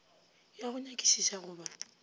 ya go nyakišiša go ba